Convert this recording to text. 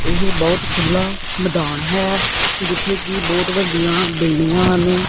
ਇਹ ਬਹੁਤ ਖੁੱਲਾ ਮੈਦਾਨ ਹੈ ਜਿੱਥੇ ਕਿ ਬਹੁਤ ਵੱਡੀਆਂ ਬਿਲਡਿੰਗਾਂ ਹਨ।